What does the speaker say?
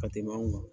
Ka tɛmɛ anw kan